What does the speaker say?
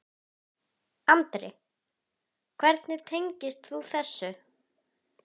Andri: Hvernig tengist þú þessu?